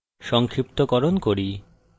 সংক্ষিপ্তকরণ করি